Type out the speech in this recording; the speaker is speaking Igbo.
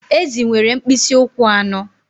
Ezì nwere mkpịsị ụkwụ anọ